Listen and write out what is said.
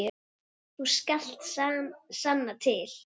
Þú skalt sanna til.